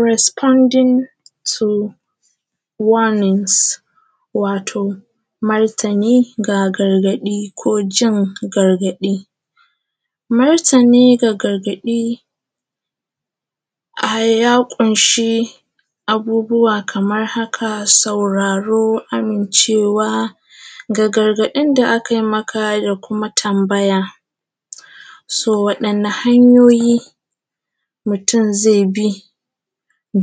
Resbodin tu wanins, wato martini ga gargaɗi ko jin gargaɗi. Martini da gargaɗi ya ƙunshi abubuwa kamar haka sauraro amincewa a gargaɗin da akai maka da kuma tambaya so waɗanna hanyoyi mutum ze bi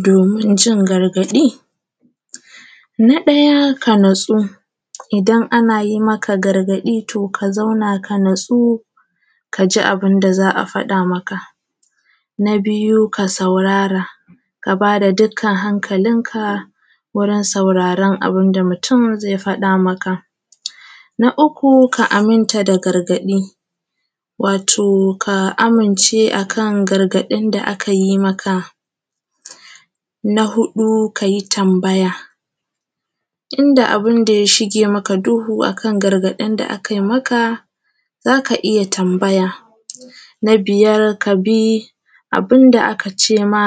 domin jin gargaɗi. Na ɗaya ka natsu, idan ana yi maka gargaɗi to ka zauna ka natsu ka ji abun da za a faɗa maka. Na biyu ka saurara ka bada dukkan hankalinka wajen sauraran dukkan abun da mutum ze faɗa maka, na uku ka aminta da gargaɗi wato ka amince akan gargaɗin da aka yi maka. Na huɗu ka yi tambaya in da abun da ya shige maka duhu, akan gargaɗin da aka yi maka za ka iya tambaya na biyar kabi abun da aka cema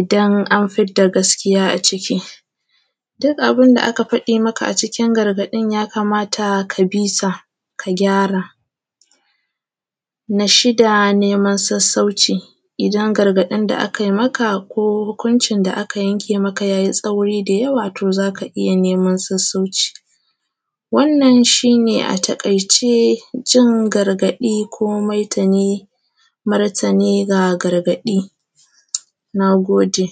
idan an fidda gaskiya a ciki duk abin da aka faɗi maka a cikin garaɗin, ya kamata ka bisa ka kyara. Na shida neman sassauci idan gargaɗin da aka yi maka ko hukuncin da aka yanke maka ya yi tsauri da yawa to za ka iya neman sassauci. Wannan shi ne a taƙaice jin gargaɗi ko mai da martani ga garaɗi. Na gode.